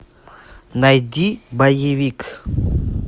найди боевик